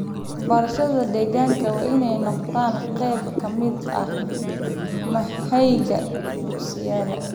Waxbarashada deegaanka waa in ay noqotaa qayb ka mid ah manhajka dugsiyada.